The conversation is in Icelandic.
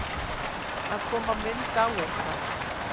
Að koma mynd á eitthvað